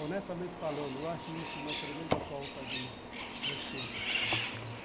Honestamente falando, eu acho isso uma tremenda falta de respeito.